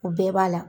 O bɛɛ b'a la